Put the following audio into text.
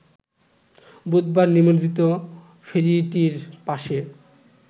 বুধবার নিমজ্জিত ফেরিটির পাশে